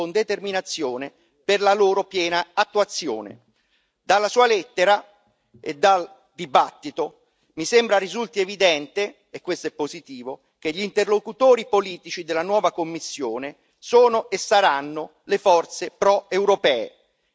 Dalla Sua lettera e dal dibattito mi sembra risulti evidente e questo è positivo che gli interlocutori politici della nuova Commissione sono e saranno le forze proeuropee e noi non accetteremo mai nessuna ambiguità in tal senso.